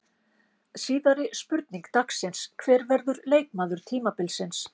Síðari spurning dagsins: Hver verður leikmaður tímabilsins?